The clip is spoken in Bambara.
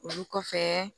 Olu kɔfɛ